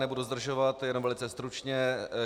Nebudu zdržovat, jenom velice stručně.